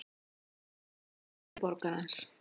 Morgunganga eldri borgarans.